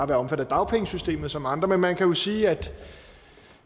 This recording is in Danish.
være omfattet af dagpengesystemet som andre men man kan jo sige at